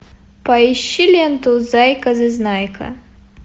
поищи ленту зайка зазнайка